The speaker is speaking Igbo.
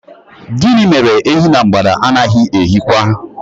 Gịnị mere Ehi na mgbada anaghị eyi kwa?